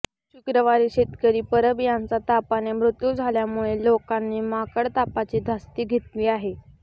शुक्रवारी शेतकरी परब यांचा तापाने मृत्यू झाल्यामुळे लोकांनी माकडतापाची धास्ती घेतली आहे